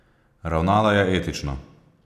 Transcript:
Ravnala je etično.